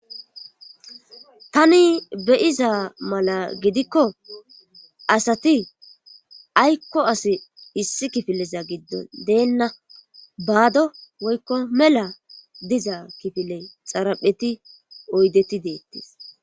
tani beyiza mala gidikko asati aykko as issi kifileza giddon deenna baado woykko mela diza kifile xarapheti oydeti deettis